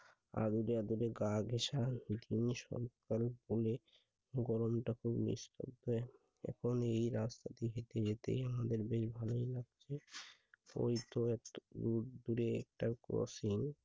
আদরে আদরে গা ঘেঁষা কোলে, গরমটা খুব এখন এই রাত পথে হেঁটে যেতেই আমাদের বেশ একটা গসিম